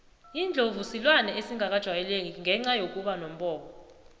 indlovu silwane esingakajayeleki ngenca yokuba nombobo